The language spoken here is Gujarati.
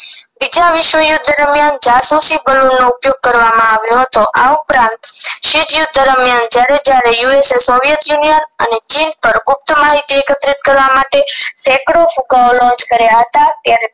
બીજા વિશ્વયુદ્ધ દરમિયાન જાસૂસી બલૂન નો ઉપયોગ કરવામાં આવ્યો હતો આ ઉપરાંત જ્યારે જ્યારે અને ચીન પર ગુપ્ત માહિતી સેકડો launch કર્યા હતા